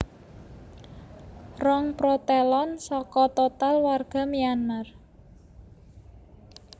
Rong protelon saka total warga Myanmar